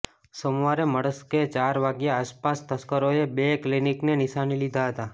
સોમવારે મળસ્કે ચાર વાગ્યા આસપાસ તસ્કરોએ બે ક્લિનિકને નીશાને લીધા હતાં